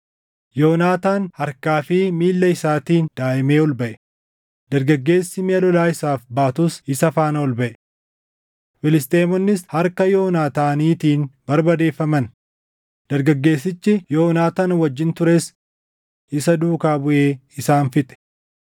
Yoonaataan harkaa fi miilla isaatiin daaʼimee ol baʼe; dargaggeessi miʼa lolaa isaaf baatus isa faana ol baʼe. Filisxeemonnis harka Yoonaataaniitiin barbadeeffaman; dargaggeessichi Yoonaataan wajjin tures isa duukaa buʼee isaan fixe.